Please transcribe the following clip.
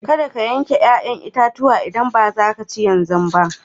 Kadda ka yanka yayan itatuwan idan baza ka ci shi yanzu ba